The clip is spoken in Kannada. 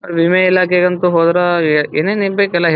ವಿಮೆ ಇಲಾಖೆಗೆ ಅಂತ ಹೋದ್ರ ಏನ್ ಏನ್ ಬೇಕು ಅವೆಲ್ಲ ಹೇಳ್ತ--